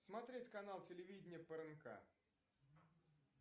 смотреть канал телевидения пмк